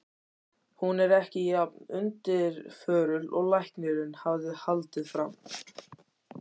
Hún var ekki jafn undirförul og læknirinn hafði haldið fram.